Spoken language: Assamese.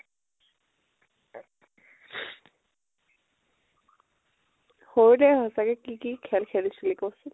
সৰুতে সচাকে কি কি খেল খেলিছিলি ক চোন ?